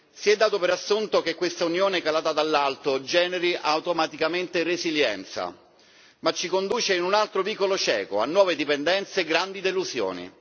Si è dato per assunto che questa unione calata dall'alto generi automaticamente resilienza, ma essa ci conduce in un altro vicolo cieco, a nuove dipendenze e grandi delusioni.